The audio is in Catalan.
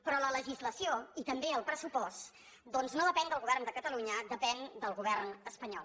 però la legislació i també el pressupost doncs no depenen del govern de catalunya depenen del govern espanyol